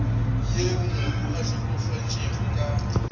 yeo mohu a hlokafetšego ka